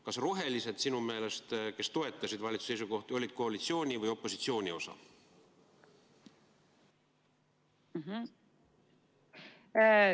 Kas sinu meelest olid rohelised, kes toetasid valitsuse seisukohti, koalitsiooni või opositsiooni osa?